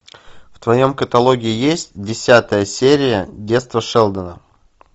в твоем каталоге есть десятая серия детство шелдона